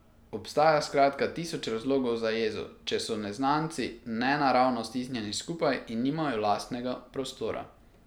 Obstaja skratka tisoč razlogov za jezo, če so neznanci nenaravno stisnjeni skupaj in nimajo lastnega prostora.